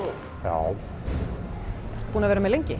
já búinn að vera með lengi